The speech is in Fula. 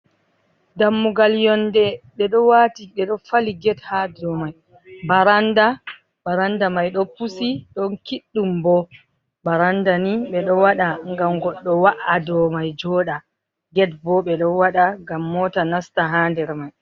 Dammugal yonde ɓe ɗo wati ɓe ɗo fali get ha dou mai, baranda, baranda mai ɗo pusi ɗon kiɗɗum bo, baranda ni ɓeɗo waɗa ngam goɗɗo wa’a dou mai joɗa, get bo ɓe ɗo waɗa ngam mota nasta ha nder mai.